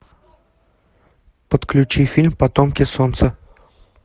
подключи фильм потомки солнца